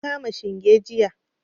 Na kama shinge jiya.